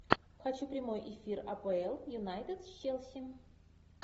хочу прямой эфир апл юнайтед с челси